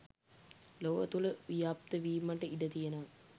ලොව තුළ ව්‍යාප්තවීමට ඉඩ තියෙනවා